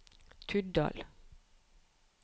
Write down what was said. Tuddal